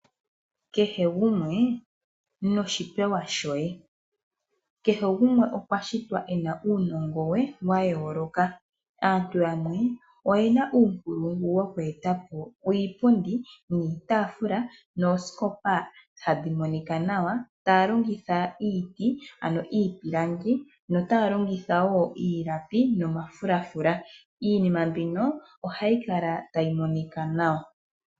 Kehe gumwe noshipewa shoye kehe gumwe okwa shitwa ena uunongo we wayooloka, aantu yamwe oyena uunkulungu wokweetapo iipundi, iitafula noosikopa tadhi monika nawa taalongitha iipilangi, iilapi nomafulafula iinima mbino ohayi kala tayi monika nawa.